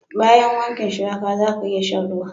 Bayan wanken shuwaka, zaka iya sha'n ruwan.